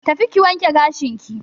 Tafi ki wanke gashinki.